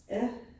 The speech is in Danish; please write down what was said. Ja